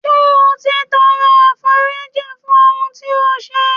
Ṣé o ti tọrọ àforíjìn fún ohun tí ó ṣe.